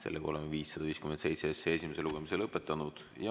Oleme eelnõu 557 esimese lugemise lõpetanud.